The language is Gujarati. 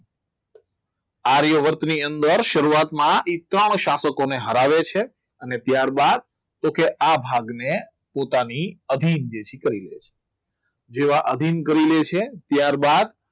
આર્યવર્તની અંદર શરૂઆતમાં એકાવન શાસકોને હરાવે છે અને ત્યારબાદ તો કે આ ભાગને પોતાની અભિન્ન કરી લે છે જેવા અભિન્ન કરી લે છે ત્યારબાદ